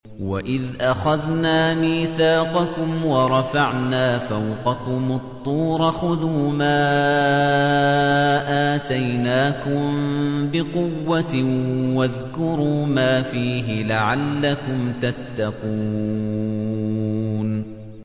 وَإِذْ أَخَذْنَا مِيثَاقَكُمْ وَرَفَعْنَا فَوْقَكُمُ الطُّورَ خُذُوا مَا آتَيْنَاكُم بِقُوَّةٍ وَاذْكُرُوا مَا فِيهِ لَعَلَّكُمْ تَتَّقُونَ